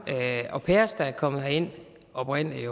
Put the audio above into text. au pairer der er kommet herind oprindelig